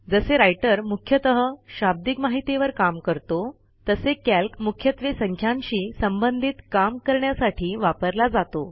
जसे राइटर मुख्यतः शाब्दिक माहितीवर काम करतो तसे कॅल्क मुख्यत्वे संख्यांशी संबंधित काम करण्यासाठी वापरला जातो